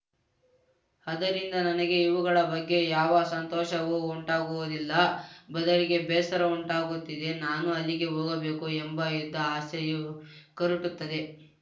ಅದರಿಂದ ನನಗೆ ಇವುಗಳ ಬಗ್ಗೆ ಯಾವ ಸಂತೋಷವೂ ಉಂಟಾಗುವುದಿಲ್ಲ ಬದಲಿಗೆ ಬೇಸರ ಉಂಟಾಗುತ್ತದೆ ನಾನೂ ಅಲ್ಲಿಗೆ ಹೋಗಬೇಕು ಎಂಬ ಇದ್ದ ಆಸೆಯೂ ಕರಟುತ್ತದೆ